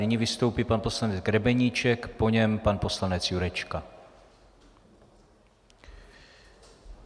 Nyní vystoupí pan poslanec Grebeníček, po něm pan poslanec Jurečka.